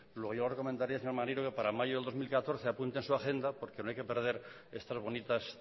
luego yo recomendaría al señor maneiro que para mayo de dos mil catorce apunte en su agenda porque no hay que perder estas bonitas